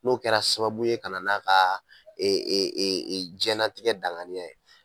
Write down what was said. N'o kɛra sababu ye kana n'a ka e e e e jɛnatigɛ danganiya ye